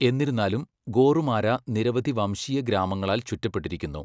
എന്നിരുന്നാലും, ഗോറുമാരാ നിരവധി വംശീയ ഗ്രാമങ്ങളാൽ ചുറ്റപ്പെട്ടിരിക്കുന്നു.